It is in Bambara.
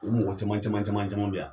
U mɔgɔ caman caman caman caman be yan.